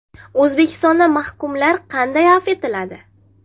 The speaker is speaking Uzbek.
O‘zbekistonda mahkumlar qanday afv etiladi?.